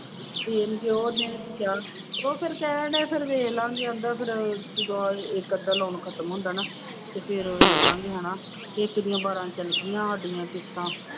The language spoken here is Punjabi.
ਦੇਣਗੇ ਉਹ ਦੇਣਗੇ ਕਿ ਆਹ, ਉਹ ਫਿਰ ਕਹਿਣਡਿਆ ਫਿਰ ਵੇਖ ਲਵਾਂਗੇੇ ਕਹਿੰਦਾ ਫਿਰ ਜਦੋਂ ਇੱਕ ਅੱਧਾ loan ਖ਼ਤਮ ਹੁੰਦਾ ਨਾ ਤੇ ਫਿਰ ਵੇਖ ਲਵਾਂਗੇ ਹਨਾ ਇੱਕ ਦੀਆਂ ਬਾਰਾਂ ਚਲੇ ਗਈਆਂ ਸਾਡੀਆਂ ਕਿਸਤਾਂ।